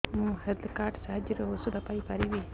ମୁଁ health card ସାହାଯ୍ୟରେ ଔଷଧ ପାଇ ପାରିବି